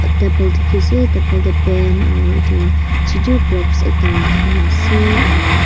table dekhi ase aru table pen aru etu chotu clock ekta dekhi ase.